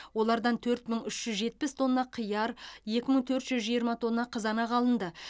олардан төрт мың үш жүз жетпіс тонна қияр екі мың төрт жүз жиырма тонна қызанақ алынды